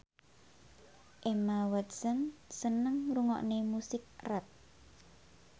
Emma Watson seneng ngrungokne musik rap